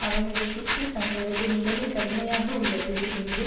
அவர்கள் எகிப்தில் தங்களது நிலைமை கடுமையாக உள்ளது என்று